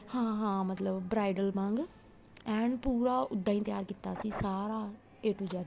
ਹਾਂ ਹਾਂ ਮਤਲਬ bridal ਵਾਂਗ ਐਨ ਪੂਰਾ ਉਹਦਾ ਹੀ ਤਿਆਰ ਕੀਤਾ ਸੀ ਸਾਰਾ a to z